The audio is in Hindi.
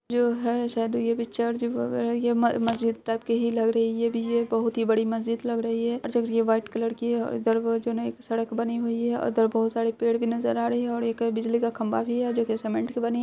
जो है शायद यह भी चर्च वगैरह ये म-मस्जिद टाइप की ही लग रही है ये बहुत ही बड़ी मस्जिद लग रही है ये वाइट कलर की है और इधर वो जो ना एक सड़क बनी हुई है और उधर बहुत सारे पेड़ भी नजर आ रही है और एक बिजली का खंभा भी है जो की सीमेंट की बनी है |